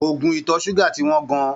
Oògùn ìtọ̀ ṣúgà ti wọ́n gan-an.